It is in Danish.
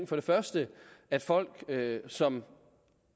for det første at folk som